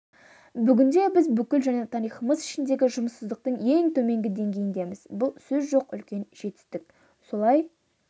бүгінде біз бүкіл жаңа тарихымыз ішіндегі жұмыссыздықтың ең төменгі деңгейіндеміз бұл сөз жоқ үлкен жетістік солай